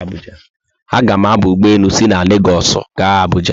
A ga mụ aba ụgbọelu si Legosu aga Abuuja